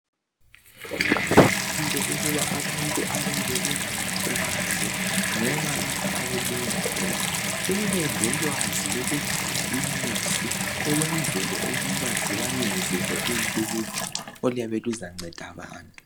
Kuqakathekile ukuba abantu abayabe belamaplazi loba lapho okulinywa khona bebelolwazi lokugcina inyosi ukwenzela ukuba zibayenzele uluju oluyabe luzanceda abantu